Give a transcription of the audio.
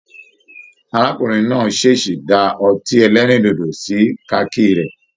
Arákùnrin náà ṣeesí dá ọtí ẹlẹrindodo sí kaki rẹ.